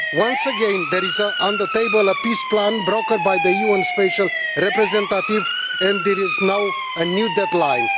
Once again there is on the table a peace plan brokered by the UN Special Representative, and there is now a new deadline.